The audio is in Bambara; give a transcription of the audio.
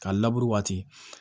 Ka labure waati